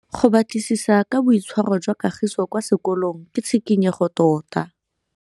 Go batlisisa ka boitshwaro jwa Kagiso kwa sekolong ke tshikinyêgô tota.